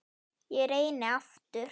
Ég reyni aftur